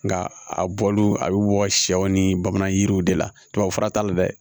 Nka a bɔl'o a bɛ bɔ sɛw ni bamanan jiriw de la tubabu fura t'a la dɛ